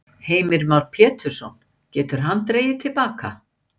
Heimir Már Pétursson: Getur hann dregið til baka?